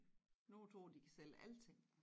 Nogen tror de kan sælge alting